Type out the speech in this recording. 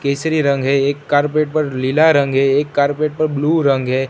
केसरी रंग है एक कार्पेट पर लीला रंग है एक कार्पेट पर ब्लू रंग है।